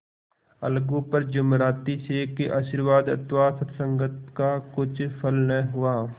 अलगू पर जुमराती शेख के आशीर्वाद अथवा सत्संग का कुछ फल न हुआ